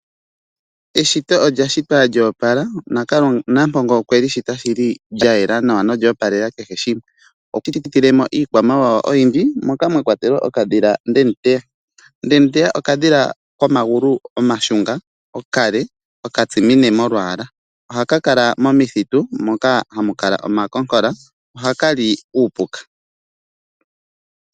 Eshito olya shitwa lyoopala, nampongo okweli shita shili lyayela nolyoopalela kehe shimwe. Iikwamawawa oyindji mwakwatelwa okadhila Ndemuteya. Ndemuteya okadhila komagulu omashunga, okale, okatsimine molwaala ohakakala momithitu moka hamukala omakonkola. Ohaka li uupuka.